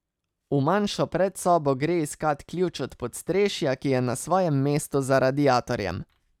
V manjšo predsobo gre iskat ključ od podstrešja, ki je na svojem mestu za radiatorjem.